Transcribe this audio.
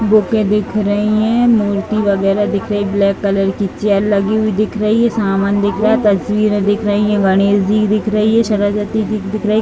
बुकें दिख रही हैं। मूर्ति वगैरा दिख रही है। ब्लैक कलर की चेयर लगी हुई दिख रही है। सामान दिख रहा है। तस्वीरें दिख रही हैं। गणेश जी की दिख रही है। सरस्वती जी की दिख रही है।